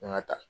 N ga taa